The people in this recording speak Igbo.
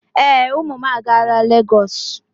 Ee, ụmụ m agaala Lagos.